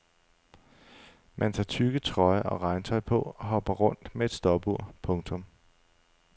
Man tager tykke trøjer og regntøj på og hopper rundt med et stopur. punktum